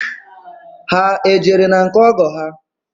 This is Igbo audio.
Ha ejere na nke ọgọ ha?